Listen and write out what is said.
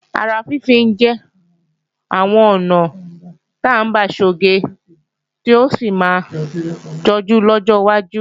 Ara fínfín jẹ́ àwọn ọ̀nà ta ń gbà sọge tí yóò sì máa jọjú lọ́jọ́ wájú